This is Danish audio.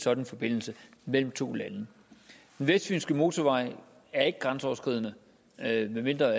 sådan forbindelse mellem to lande den vestfynske motorvej er ikke grænseoverskridende medmindre